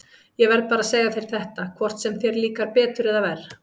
Ég verð bara að segja þér þetta, hvort sem þér líkar betur eða verr.